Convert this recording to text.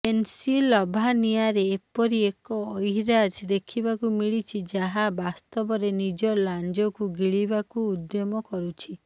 ପେନ୍ସିଲଭାନିଆରେ ଏପରି ଏକ ଅହିରାଜ ଦେଖିବାକୁ ମିଳିଛି ଯାହା ବାସ୍ତବରେ ନିଜ ଲାଞ୍ଜକୁ ଗିଳିବାକୁ ଉଦ୍ୟମ କରୁଛି